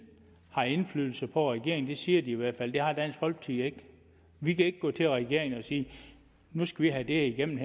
har indflydelse på regeringen det siger i hvert fald det har dansk folkeparti ikke vi kan ikke gå til regeringen og sige nu skal vi have det her igennem